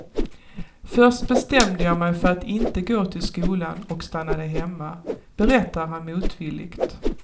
Först bestämde jag mig för att inte gå till skolan och stannade hemma, berättar han motvilligt.